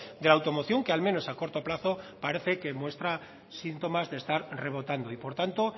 de la automoción que al menos a corto plazo parece que muestra síntomas de estar rebotando y por tanto